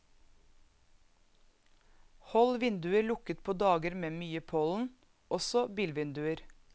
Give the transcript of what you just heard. Hold vinduer lukket på dager med mye pollen, også bilvinduer.